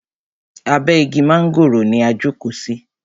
Abe igi mángòrò ni a jókò sí.